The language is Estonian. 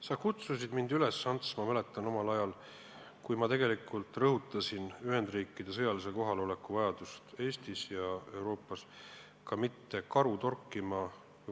Sa kutsusid mind üles, Ants, ma mäletan, ka omal ajal, kui ma rõhutasin Ühendriikide sõjalise kohaloleku vajadust Eestis ja Euroopas, mitte karu torkima.